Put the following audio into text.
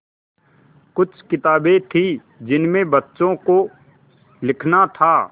कुछ किताबें थीं जिनमें बच्चों को लिखना था